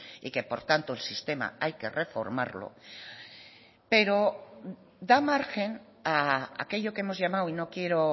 y que por tanto el sistema hay que reformarlo pero da margen a aquello que hemos llamado y no quiero